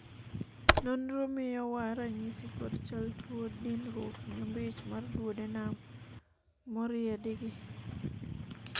nonro miyo wa ranyisi kod chal tuo dinruok nyombich mar duodenum moriedi gi